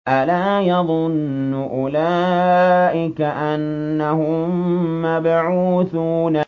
أَلَا يَظُنُّ أُولَٰئِكَ أَنَّهُم مَّبْعُوثُونَ